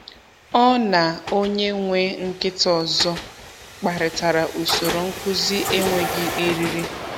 Ọ na onye nwe nkịta ọzọ kparịtara usoro nkuzi enweghị eriri.